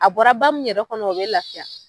A bɔra ba min yɛrɛ kɔnɔ o bɛ lafiya.